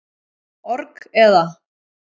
org, eða.